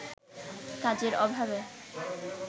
কাজের অভাবে